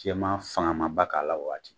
Jɛman fanga man ba k'a la o waati.